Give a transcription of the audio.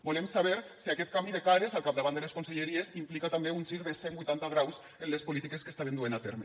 volem saber si aquest canvi de cares al capdavant de les conselleries implica també un gir de cent huitanta graus en les polítiques que estaven duent a terme